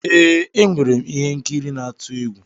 Ee, enwere m ihe nkiri n'atu egwu.